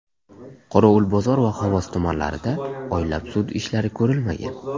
Qorovulbozor va Xovos tumanlarida oylab sud ishlari ko‘rilmagan.